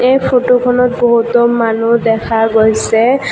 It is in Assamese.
এই ফটোখনত বহুতো মানুহ দেখা গৈছে।